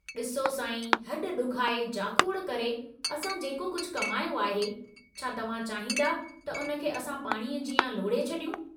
डिसो साईं, हड ॾुखाए, जाखोड़ करे असां जेको कुझु कमायो आहे, छा तव्हां चाहींदा त उन खे असां पाणीअ जीअं लोड़हे छड़ियूं।